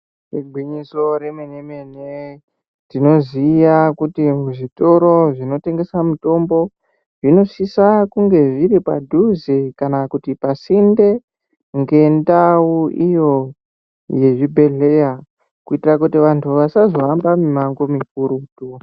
Igwinyiso remene mene tinoziva kuti zvitoro zvinotengeswa mutombo zvinosisa kunge zviri padhuze kana pasinde ngendau iyo yezvibhedhlera kuitira kuti antu asazohamba mimango mikurutu.